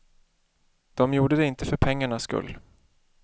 De gjorde det inte för pengarnas skull.